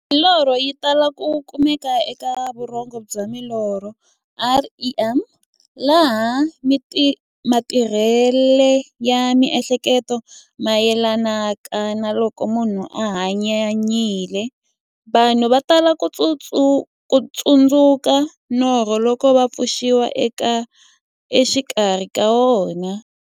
Milorho yi tala ku kumeka eka vurhongo bya milorho, REM, laha matirhele ya mi'hleketo mayelanaka na loko munhu a hanyanyile. Vanhu va tala ku tsundzuka norho loko va pfuxiwa exikarhi ka wona.